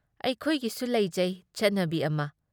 ꯑꯩꯈꯣꯏꯒꯤꯁꯨ ꯂꯧꯖꯩ ꯆꯠꯅꯕꯤ ꯑꯃ ꯫